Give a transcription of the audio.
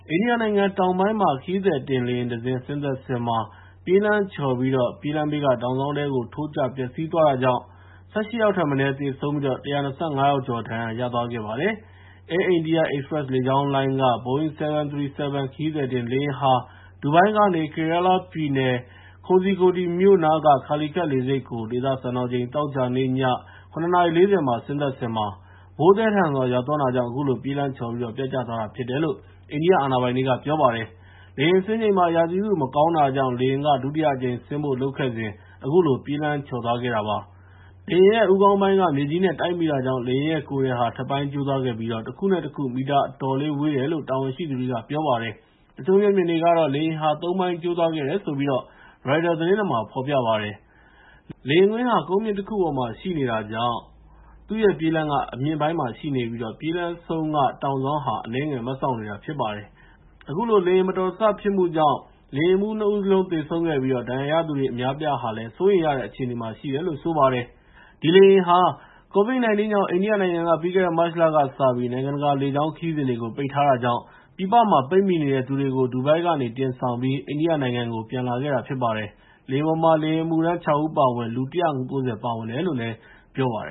အိန္ဒိယနိုင်ငံတောင်ပိုင်းမှာ ခရီးသည်တင်လေယာဉ်တစင်း ပြေးလမ်းပေါ် ဆင်းတဲ့အချိန် လမ်းချော်ပြီး ပြေးလမ်းဘေးက တောင်စောင်းထဲကို ထိုးကျ ပျက်စီးသွားတာကြောင့် လူ ၁၈ ယောက်ထက်မနည်း သေဆုံးပြီး ၁၂၅ ယောက်ကျော် ဒဏ်ရာရသွားခဲ့ပါတယ်။ Air India Express လေကြောင်းလိုင်းက Boeing 737 ခရီးသည်တင် လေယာဉ်ဟာ ဒူဘိုင်းကနေ Kerala ပြည်နယ် Kozhikode မြို့နားက Calicut လေဆိပ်ကို ဒေသစံတော်ချိန် သောကြာနေ့ ည ၇ နာရီ ၄၀ မှာ ဆင်းသက်ချိန် မိုးသည်းထန်စွာ ရွာနေတာကြောင့် အခုလို ပြေးလမ်းချော်ပြီး ပျက်ကျသွားတာဖြစ်တယ်လို့ အိန္ဒိယအာဏာပိုင်တွေက ပြောပါတယ်။ လေယာဉ်ဆင်းချိန်မှာ ရာသီဥတု မကောင်းတာကြောင့် လေယာဉ်က ဒုတိယအကြိမ် ဆင်းဖို့လုပ်ခဲ့စဉ်မှာ အခုလို ပြေးလမ်းချော်သွားခဲ့တာ ဖြစ်ပါတယ်။ လေယာဉ်ရဲ့ ခေါင်းပိုင်း မြေကြီးနဲ့ တိုက်မိတာကြောင့် လေယာဉ်ရဲ့ ကိုယ်ထည်ဟာ ထက်ပိုင်းကျိုးသွားခဲ့ပြီး တခုနဲ့တခု မီတာအတော်လေး ဝေးတယ်လို့ တာဝန်ရှိသူတွေက ပြောပါတယ်။ တချို့မျက်မြင်တွေကတော့ လေယာဉ်ဟာ ၃ ပိုင်း ကျိုးသွားခဲ့တယ်ဆိုပြီး ပြောတဲ့အကြောင်း ရိုက်တာသတင်းမှာ ဖော်ပြပါတယ်။ လေယာဉ်ကွင်းဟာ ကုန်းမြင့်တခုပေါ်မှာ ရှိတာကြောင့် သူ့ရဲ့ပြေးလမ်းဟာလည်း အမြင့်ပိုင်းမှာရှိနေပြီး လေယာဉ် ပြေးလမ်းအဆုံး နှစ်ဖက်က တောင်စောင်းက အနည်းငယ် မတ်စောက်နေတာ ဖြစ်ပါတယ်။ အခုလို လေယာဉ်မတော်တဆ ဖြစ်မှုကြောင့် လေယာဉ်မှူးနှစ်ဦးစလုံး သေဆုံးခဲ့ပြီး ဒဏ်ရာရသူတွေထဲက အများအပြားဟာလည်း စိုးရိမ်ရတဲ့ အခြေအနေမှာ ရှိတယ်လို့ ပြောပါတယ်။ ဒီလေယာဉ်ဟာ COVID-19 ကြောင့် ပြီးခဲ့တဲ့ မတ်လကစပြီး နိုင်ငံတကာ လေကြောင်းခရီးစဉ်တွေကို အိန္ဒိယက ပိတ်ထားတာကြောင့် ပြည်ပမှာ ပိတ်မိနေတဲ့သူတွေကို ဒူဘိုင်းကနေ တင်ဆောင်ပြီး အိန္ဒိယနိုင်ငံကို ပြန်ခေါ်လာတဲ့ လေယာဉ် ဖြစ်ပါတယ်။ လေယာဉ်ပေါ်မှာ လေယာဉ်အမှုထမ်း ၆ ဦး အပါအဝင် လူ ၁၉၀ ပါဝင်တယ်လို့ ပြောပါတ